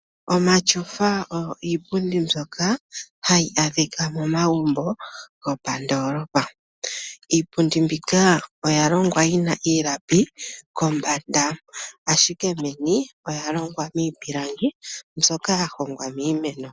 Omatyofa oyo iipundi mbyoka yayi adhika momagumbo gomoondoolopa. Iipundi mbika oya longwa yina iilapi kombanda ashike meni oyalongwa miipilangi myoka yahongwa miimeno.